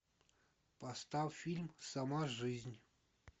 поставь фильм сама жизнь